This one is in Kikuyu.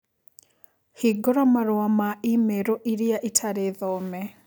Hingũra marũa ma i-mīrū iria itarĩ thome